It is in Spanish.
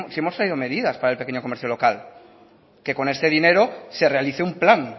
hemos traído medidas para el pequeño comercio local que con este dinero se realice un plan